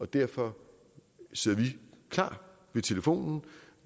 derfor sidder vi klar ved telefonen